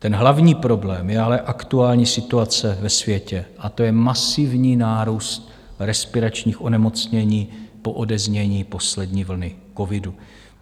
Ten hlavní problém je ale aktuální situace ve světě a to je masivní nárůst respiračních onemocnění po odeznění poslední vlny covidu.